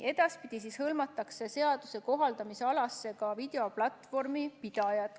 Edaspidi hõlmatakse seaduse kohaldamisalasse ka videoplatvormi pidajad.